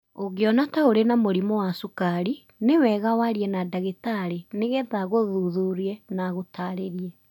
Ũngĩona ta ũrĩ na mũrimũ wa cukari, nĩ wega warie na ndagĩtarĩ nĩgetha agũthuthurie na agũtaarĩrie.